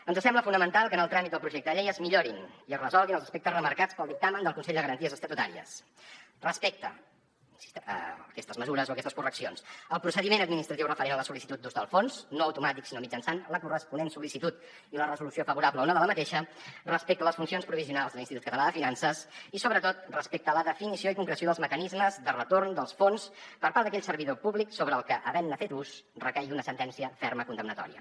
ens sembla fonamental que en el tràmit del projecte de llei es millorin i es resolguin els aspectes remarcats pel dictamen del consell de garanties estatutàries respecte aquestes mesures o aquestes correccions al procediment administratiu referent a la sol·licitud d’ús del fons no automàtic sinó mitjançant la corresponent sol·licitud i la resolució favorable o no de la mateixa respecte a les funcions provisionals de l’institut català de finances i sobretot respecte a la definició i concreció dels mecanismes de retorn dels fons per part d’aquell servidor públic sobre el que havent ne fet ús recaigui una sentència ferma condemnatòria